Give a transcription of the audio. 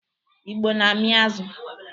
Igbo na-amị azụ.